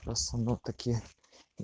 просто ну такие